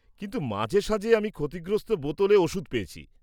কিন্তু মাঝেসাঝে আমি ক্ষতিগ্রস্ত বোতলে ওষুধ পেয়েছি।